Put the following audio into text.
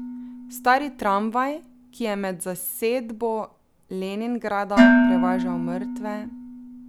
Stari tramvaj, ki je med zasedbo Leningrada prevažal mrtve ...